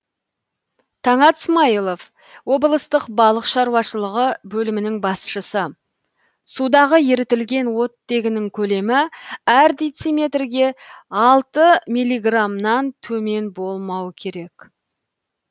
таңат смайылов облыстық балық шаруашылығы бөлімінің басшысы судағы ерітілген оттегінің көлемі әр дециметрге алты миллиграмнан төмен болмау керек